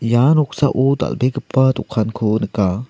ia noksao dal·begipa dokanko nika.